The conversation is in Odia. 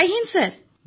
ଜୟ ହିନ୍ଦ୍ ସାର୍